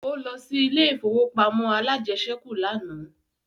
Ó lọ sí ilé ìfowópamọ́ alájẹsẹ́kù lánàá